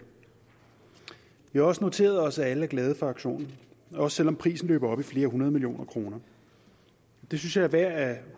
vi har også noteret os at alle er glade for aktionen også selv om prisen løber op i flere hundrede millioner kroner det synes jeg er værd at